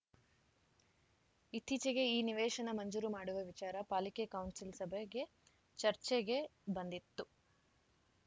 ಇತ್ತೀಚೆಗೆ ಈ ನಿವೇಶನ ಮಂಜೂರು ಮಾಡುವ ವಿಚಾರ ಪಾಲಿಕೆ ಕೌನ್ಸಿಲ್‌ ಸಭೆಗೆ ಚರ್ಚೆಗೆ ಬಂದಿತ್ತು